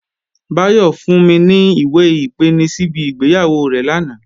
Báyọ̀ fún mi ní ìwé-ìpeni síbi ìgbéyàwó rẹ̀ lánàá